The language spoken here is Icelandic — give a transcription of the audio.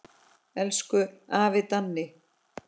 Elsku afi Danni.